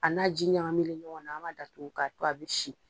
A n'a ji ɲagamilen ɲɔgɔn na, an ma datugu k'a to a bi si.